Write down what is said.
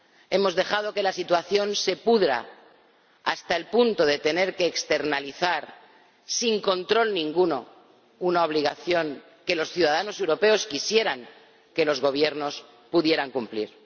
Hemos dejado que la situación se pudra hasta el punto de tener que externalizar sin control ninguno una obligación que los ciudadanos europeos quisieran que los gobiernos pudieran cumplir.